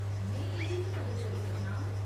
में एह्दे च मदद करी सकना आं।